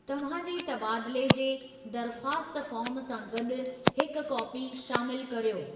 तव्हां जे तबादले जे दरख़्वास्त फ़ार्म सां गॾु हिक कापी शामिलु कर्यो।